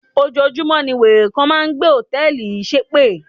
Ojoojúmọ́ ní wèrè kan máa ń gbé hòtẹ́ẹ̀lì yìí ṣépè.